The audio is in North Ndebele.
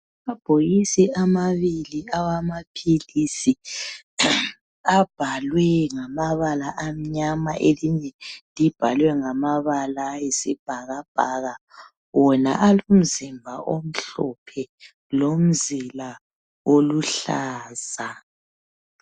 amabhokisi amabili awamaphilisi abhalwe ngamabala amnyama elinye libhalwe ngamabala ayisibhakabhaka wona alomzimba omhlophe lomzila oluhlaza